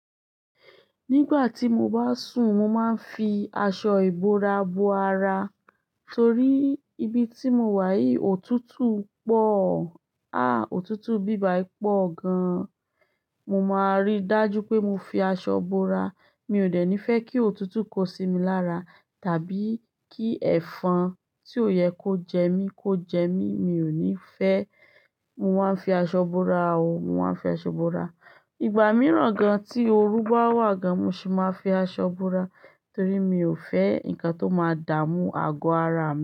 Nígbà tí mo bá sùn, mo máa ń fi aṣọ ìbora bo ara torí ibi tí mo wà yìí òtútù pọ̀. À, òtútù ibí bàyì pọ̀ gan. Mo máa rí dájú pé mo fi aṣọ bora. Mi ò dè ní fẹ́ kí òtútù kó sí mi lára tàbí kí ẹ̀fọn tí ò yẹ kó jẹ mí kó jẹ mí. Mi ò ní fẹ́. Mo máa ń fi aṣọ bora o. Mo máa ń fi aṣọ bora. Igba mìíràn gan, tí oru bá wà gan, mo sì máa fi aṣọ bora torí mi ò fẹ́ nǹkan tó máa dààmú àgọ́ ara mi.